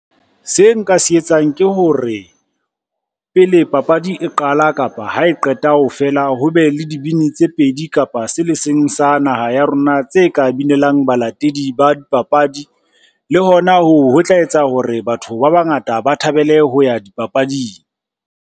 Se nka se etsang ke hore, pele papadi e qala kapa ha e qeta fela, ho be le dibini tse pedi kapa se le seng sa naha ya rona, tse ka bimelang balatedi ba dipapadi le hona hoo ho tla etsa hore batho ba bangata ba thabele ho ya dipapading.